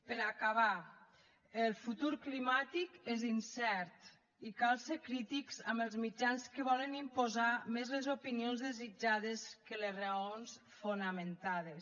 per acabar el futur climàtic és incert i cal ser crítics amb els mitjans que volen imposar més les opinions desitjades que les raons fonamentades